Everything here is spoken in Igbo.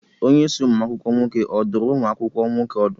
Onyeisi ụmụ akwụkwọ nwoke ọ dụrụ ụmụ akwụkwọ nwoke ọdụ?